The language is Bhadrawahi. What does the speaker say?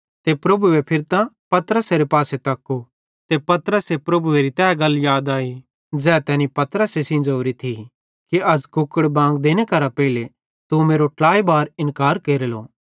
ते परमेशरे फिरतां पतरसेरे पासे तक्कू ते पतरसे परमेशरेरी तै गल याद आई ज़ै तैनी पतरसे सेइं ज़ोरी थी कि अज़ कुकड़े बांग देने करां पेइले तू मेरो ट्लाई बार इन्कार केरेलो